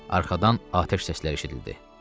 Arxadan atəş səsləri eşidildi.